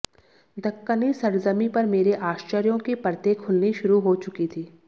दक्कनी सरज़मीं पर मेरे आश्चर्यों की परतें खुलनी शुरू हो चुकी थी